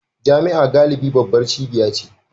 Jami'a galibi babbar cibiya ce